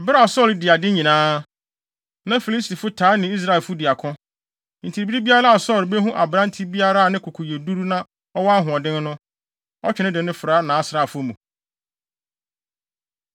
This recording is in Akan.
Bere a Saulo dii ade nyinaa, na Filistifo taa ne Israelfo di ako. Enti bere biara a Saulo behu aberante biara a ne koko yɛ duru na ɔwɔ ahoɔden no, ɔtwe no de no fra nʼasraafo mu.